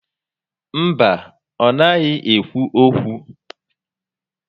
Mba, ọ naghị ékwú ókwú